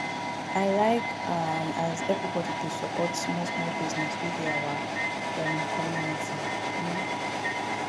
i like um as everybodi dey support smallsmall business wey dey our um community um